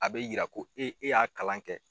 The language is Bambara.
A bɛ yira ko e e y'a kalan kɛ.